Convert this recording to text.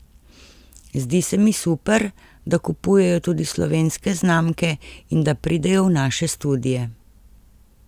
Zdi se mi super, da kupujejo tudi slovenske znamke in da pridejo v naše studie.